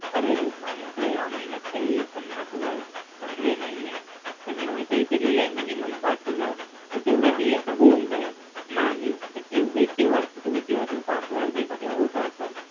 अरेरे! माझ्या कडे या महिन्यात काही पन्नास हजार जमले नाहीये पण इथे लिहिलंय minimum पाच हजार तर तेवढे दिले तर होऊन जाईल नाही एवढे तेव्हर तुम्ही जेव्हा जेव्हा पाच हजार देता तेव्हा होत असं